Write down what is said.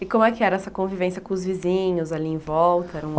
E como é que era essa convivência com os vizinhos ali em volta? Era um